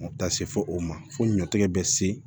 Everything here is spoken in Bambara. Taa se fɔ o ma fo ɲɔtigɛ bɛ se